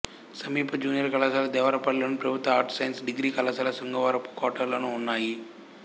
సమీప జూనియర్ కళాశాల దేవరాపల్లిలోను ప్రభుత్వ ఆర్ట్స్ సైన్స్ డిగ్రీ కళాశాల శృంగవరపుకోటలోనూ ఉన్నాయి